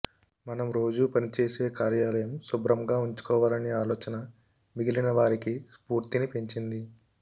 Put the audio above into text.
మనం రోజు పని చేసే కార్యాలయం శుభ్రంగా ఉంచుకోవాలనే ఆలోచన మిగిలిన వారికి స్పూర్తిని పెంచింది